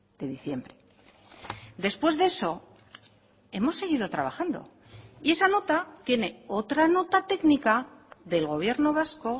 de diciembre después de eso hemos seguido trabajando y esa nota tiene otra nota técnica del gobierno vasco